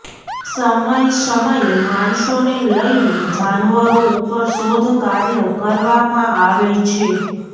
સમય સમયે માણસોને લઈને જાનવરો ઉપર શોધ કાર્ય કરવામાં આવે છે